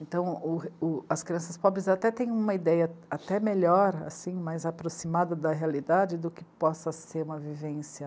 Então, o, o, as crianças pobres até têm uma ideia até melhor, mais aproximada da realidade do que possa ser uma vivência.